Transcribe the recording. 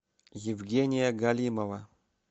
евгения галимова